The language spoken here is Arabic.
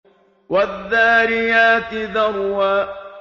وَالذَّارِيَاتِ ذَرْوًا